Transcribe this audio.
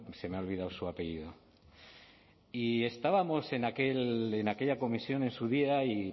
se me ha olvidado su apellido y estábamos en aquella comisión en su día